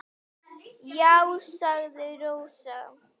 Já, sagði Rósa.